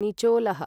निचोलः